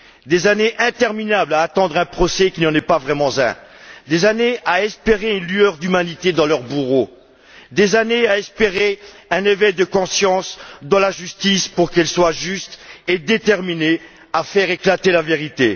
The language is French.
Des années interminables à attendre un procès qui n'en est pas vraiment un, des années à espérer une lueur d'humanité dans les yeux de leurs bourreaux, des années à espérer un éveil de conscience de la justice, pour qu'elle soit juste et déterminée à faire éclater la vérité.